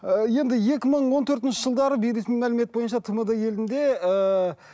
ы енді екі мың он төртінші жылдары бейресми мәлімет бойынша тмд елінде ыыы